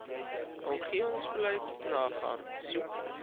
omgewingsbeleid nagaan soek